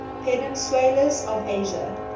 peninsulas of asia